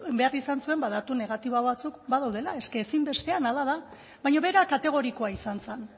behar izan zuen datu negatibo batzuk badaudela es que ezinbestean hala da baina bera kategorikoa izan zen